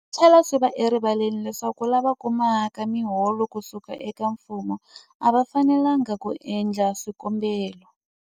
Swi tlhela swi va erivaleni leswaku lava kumaka miholo ku suka eka mfumo a va fanelanga ku endla swikombelo.